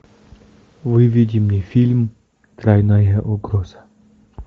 выведи мне фильм тройная угроза